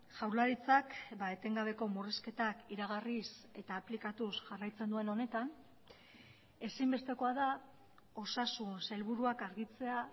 jaurlaritzak etengabeko murrizketak iragarriz eta aplikatuz jarraitzen duen honetan ezinbestekoa da osasun sailburuak argitzea